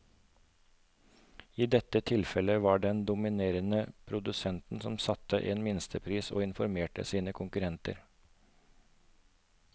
I dette tilfellet var det den dominerende produsenten som satte en minstepris og informerte sine konkurrenter.